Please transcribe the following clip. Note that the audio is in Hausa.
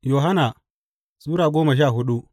Yohanna Sura goma sha hudu